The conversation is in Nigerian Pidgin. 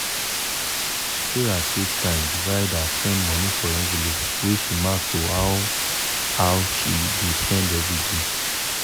sarah take time divide her spend money for envelope wey she mark to how how she dey spend everyday.